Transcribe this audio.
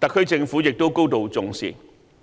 此特區政府亦高度重視。